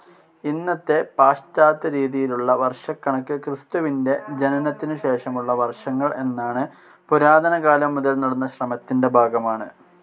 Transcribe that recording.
ഇന്നത്തെ പാശ്ചാത്യരീതിയിലുള്ള വർഷക്കണക്ക് ക്രിസ്തുവിൻ്റെ ജനനത്തിനുശേഷമുള്ള വർഷങ്ങൾ എന്നാണ് പുരാതനകാലം മുതൽ നടന്ന ശ്രമത്തിൻ്റെ ഭാഗമാണ്.